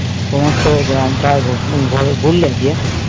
সমস্ত গ্রাম টা রোদ্দুরে ঘুরলে গিয়ে